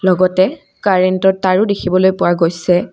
লগতে কাৰেন্তৰ তাঁৰো দেখিবলৈ পোৱা গৈছে।